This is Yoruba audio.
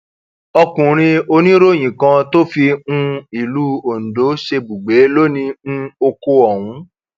ọkùnrin oníròyìn kan tó fi um ìlú ondo ṣebùgbé ló ni um oko ọhún